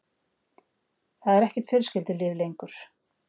Það er ekkert fjölskyldulíf lengur.